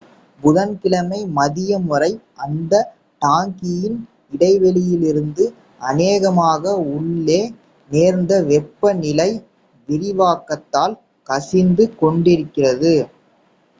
புதன் கிழமை மதியம் வரை அந்த டாங்கியின் இடைவெளியிலிருந்து அநேகமாக உள்ளே நேர்ந்த வெப்ப நிலை விரிவாக்கத்தால் கசிந்து கொண்டிருந்தது